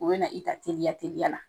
U bɛ na, i ka teliya teliya la.